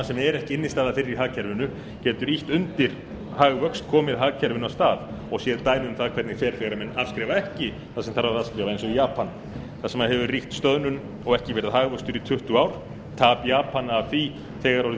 sem er ekki innstæða fyrir í hagkerfinu getur ýtt undir hagvöxt komið hagkerfinu af stað og séð dæmi um það hvernig fer þegar menn afskrifa ekki eins og í japan þar sem hefur ríkt stöðnun og ekki verið hagvöxtur í tuttugu ár tap japana af því er þegar orðið